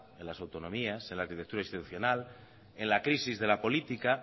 en las autonomías en la arquitectura institucional en la crisis de la política